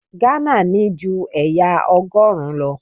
Ghana ní ju ẹ̀yà Ọgọ́rùn-ún lọ.